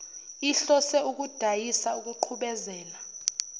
ihlose ukudayisa ukuqhubezela